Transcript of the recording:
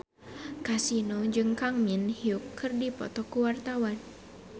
Kasino jeung Kang Min Hyuk keur dipoto ku wartawan